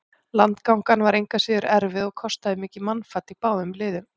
Landgangan var engu að síður erfið og kostaði mikið mannfall í báðum liðum.